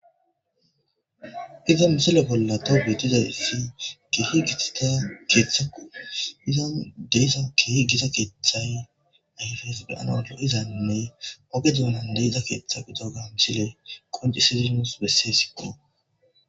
Hayssa missile bolla tawu bettizayssi kehi gittida keththeko izan deiza kehi gitta keththay deizane ogge doonan deiza keththa missiley nus qoncisidi nusi bessesiko.